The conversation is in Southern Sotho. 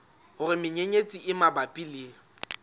hore menyenyetsi e mabapi le